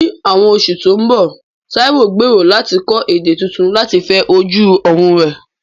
Ní àwọn oṣù tó ń bọ̀, Taiwo gbèrò láti kọ́ èdè tuntun láti fẹ ojú ọ̀run rẹ̀.